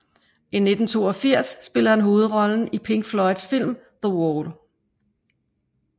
I 1982 spillede han hovedrollen i Pink Floyds film The Wall